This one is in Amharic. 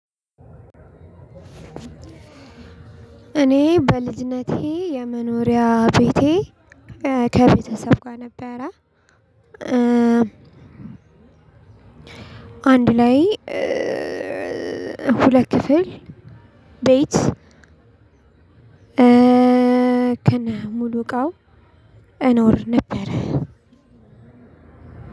እኔ በልጅነቴ የመኖሪያ ቤቴ ከቤተሰብ ጋር ነበረ። አንድ ላይ ሁለት ክፍል ቤት- ከነሙሉ እቃው እኖር ነበር።